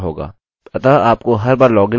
अतः आपको हर बार लॉगिन करने की आवश्यकता नहीं है